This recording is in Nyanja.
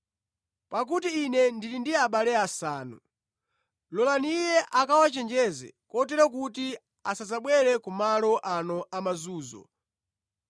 pakuti ine ndili ndi abale asanu. Lolani iye akawachenjeze kotero kuti asadzabwere kumalo ano amazunzo.’